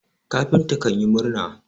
kafinta kanyi murna